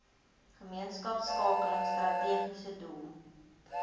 gemeenskapskakeling strategiese doel